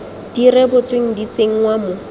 di rebotsweng di tsenngwa mo